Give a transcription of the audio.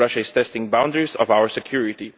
Russia is testing the boundaries of our security.